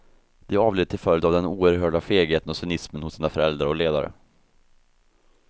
De avled till följd av den oerhörda fegheten och cynismen hos sina förhandlare och ledare.